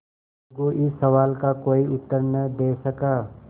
अलगू इस सवाल का कोई उत्तर न दे सका